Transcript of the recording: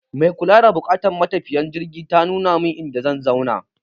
Mai kula da buƙatun matafiyan jirgi ta nuna min inda zan zauna.